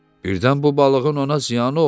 Birdən bu balığın ona ziyanı olar.